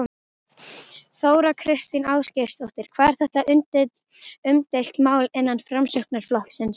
Þóra Kristín Ásgeirsdóttir: Hvað er þetta umdeilt mál innan Framsóknarflokksins?